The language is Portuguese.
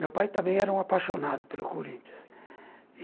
Meu pai também era um apaixonado pelo Corinthians.